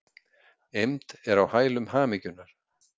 Eymd er á hælum hamingjunnar.